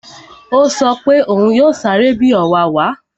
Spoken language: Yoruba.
Ó sọ pé òún yóò sáré bi ọ̀wàwà